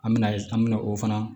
An mɛna an mɛna o fana